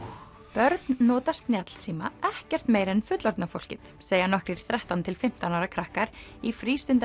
börn nota snjallsíma ekkert meira en fullorðna fólkið segja nokkrir þrettán til fimmtán ára krakkar í